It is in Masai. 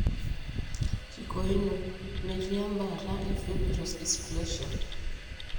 Kikoino, metii embaata eFibrous dysplasia.